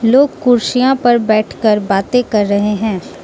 लोग कुर्सियां पर बैठकर बाते कर रहे है।